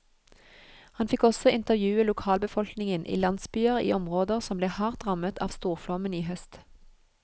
Han fikk også intervjue lokalbefolkningen i landsbyer i områder som ble hardt rammet av storflommen i høst.